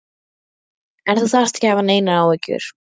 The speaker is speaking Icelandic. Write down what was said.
En þú þarft ekki að hafa neinar áhyggjur.